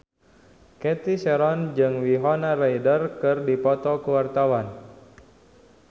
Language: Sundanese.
Cathy Sharon jeung Winona Ryder keur dipoto ku wartawan